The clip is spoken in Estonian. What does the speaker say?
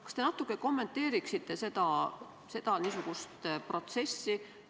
Kas te kommenteeriksite natuke seda protsessi?